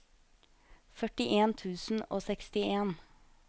førtien tusen og sekstien